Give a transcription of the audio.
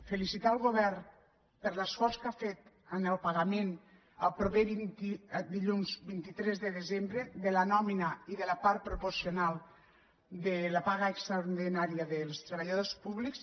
felicitar el govern per l’esforç que ha fet en el pagament el proper dilluns vint tres de desembre de la nòmina i de la part proporcional de la paga extraordinària dels treballadors públics